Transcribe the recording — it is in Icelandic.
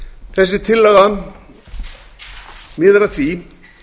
þessi tillaga miðar að því